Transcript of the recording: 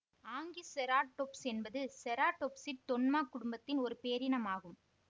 Anchiceratops என்பது செராடொப்சிட் தொன்மாக் குடும்பத்தின் ஒரு பேரினம் ஆகும்